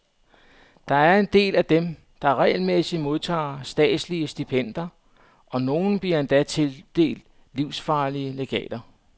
Der er en del af dem, der regelmæssigt modtager statslige stipendier, og nogle bliver endda tildelt livsvarige legater.